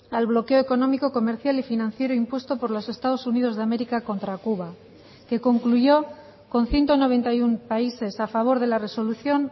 al bloqueo económico comercial y financiero impuesto por los estados unidos de américa contra cuba que concluyó con ciento noventa y uno países a favor de la resolución